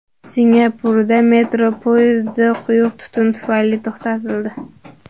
Singapurda metro poyezdi quyuq tutun tufayli to‘xtatildi .